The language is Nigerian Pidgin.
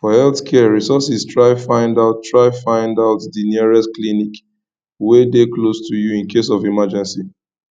for health care resources try find out try find out di nearest clinic wey de close to you in case of emergencies